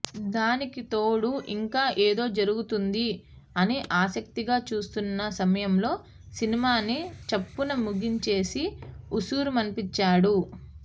దానికి తోడు ఇంకా ఏదో జరుగుతుంది అని ఆసక్తిగా చూస్తున్న సమయంలో సినిమాని చప్పున ముగించేసి ఉసూరుమనిపించాడు